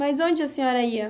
Mas onde a senhora ia?